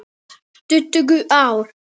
Tuttugu ár!